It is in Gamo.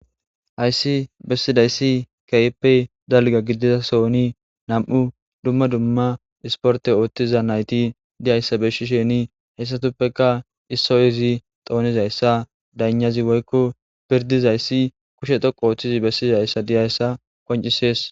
Hayssi bessidayssi keyppe dalga gidiza soni nam'u dumma dumma isporte ooththiza nayti diyayssa beshisheni heyssatuppeka issoy izi xoonizayssa daynazi woykko pirdizayssi kushe toqo ooththizi bessizayssa diyayssa qoncisees.